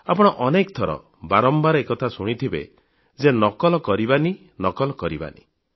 ଆପଣ ଅନେକଥର ବାରମ୍ବାର ଏକଥା ଶୁଣିଥିବେ ଯେ ନକଲ କରିବନି ନକଲ କରିବନି